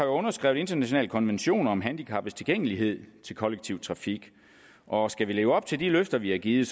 underskrevet internationale konventioner om handicaptilgængelighed til kollektiv trafik og skal vi leve op til de løfter vi har givet